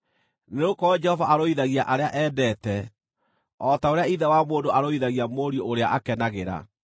nĩgũkorwo Jehova arũithagia arĩa endete, o ta ũrĩa ithe wa mũndũ arũithagia mũriũ ũrĩa akenagĩra.